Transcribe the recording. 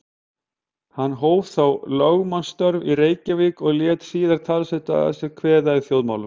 Hann hóf þá lögmannsstörf í Reykjavík og lét síðan talsvert að sér kveða í þjóðmálum.